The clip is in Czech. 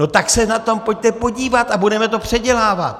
No tak se na to pojďte podívat a budeme to předělávat.